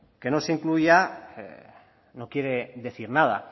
que no se incluya no quiere decir nada